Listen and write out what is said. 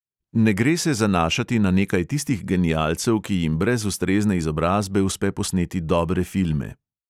Ne gre se zanašati na nekaj tistih genialcev, ki jim brez ustrezne izobrazbe uspe posneti dobre filme.